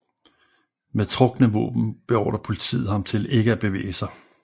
Med trukne våben beordrer politiet ham til ikke at bevæge sig